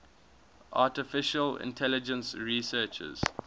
artificial intelligence researchers